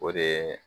O de ye